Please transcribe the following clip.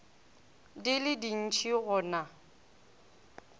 di le dintši go na